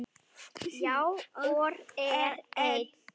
Já, og er enn.